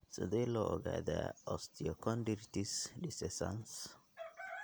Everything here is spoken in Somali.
Sidee loo ogaadaa osteochondritis discecans?